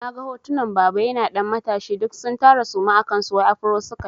Na ga hotunan baba yana ɗan matashi duk sun tara suma a kansu wai afro sukayi.